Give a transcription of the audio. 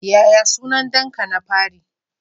Yaya sunan danka na fari?